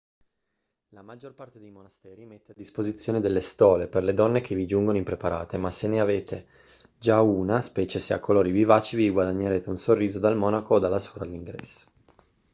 la maggior parte dei monasteri mette a disposizione delle stole per le donne che vi giungono impreparate ma se ne avete già una specie se a colori vivaci vi guadagnerete un sorriso dal monaco o dalla suora all'ingresso